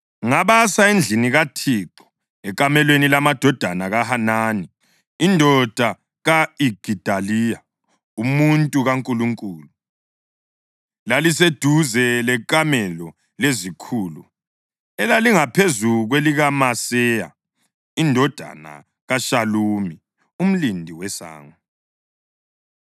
Ngabasa endlini kaThixo, ekamelweni lamadodana kaHanani indoda ka-Igidaliya umuntu kaNkulunkulu. Laliseduze lekamelo lezikhulu elalingaphezu kwelikaMaseya indodana kaShalumi umlindi wesango.